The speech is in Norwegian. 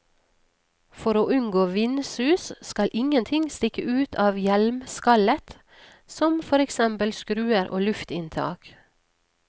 For å unngå vindsus, skal ingenting stikke ut av hjelmskallet, som for eksempel skruer og luftinntak.